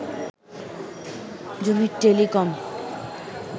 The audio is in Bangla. জমির টেলিকম